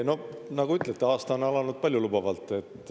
No nagu te ütlete, aasta on alanud paljulubavalt.